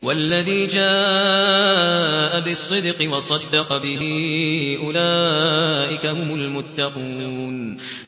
وَالَّذِي جَاءَ بِالصِّدْقِ وَصَدَّقَ بِهِ ۙ أُولَٰئِكَ هُمُ الْمُتَّقُونَ